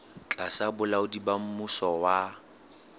tlasa bolaodi ba mmuso wa